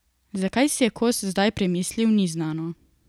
Zakaj si je Kos zdaj premislil, ni znano.